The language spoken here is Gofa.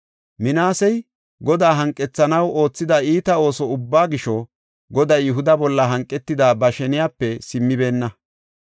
Minaasey Godaa hanqethanaw oothida iita ooso ubbaa gisho, Goday Yihuda bolla hanqetida ba sheniyape simmibeenna.